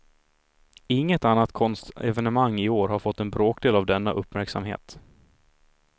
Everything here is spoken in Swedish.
Inget annat konstevenemang i år har fått en bråkdel av denna uppmärksamhet.